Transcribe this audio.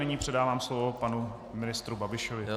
Nyní předávám slovo panu ministrovi Babišovi.